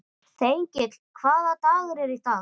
Þengill, hvaða dagur er í dag?